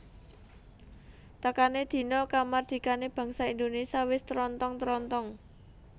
Tekané dina kamardikané bangsa Indonesia wis trontong trontong